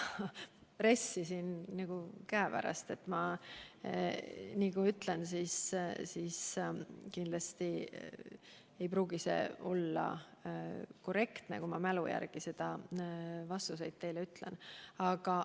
Sellest 30 miljonit on – mul ei ole praegu RES-i siin käepärast, nii et kui ma midagi mälu järgi ütlen, ei pruugi see olla korrektne vastus.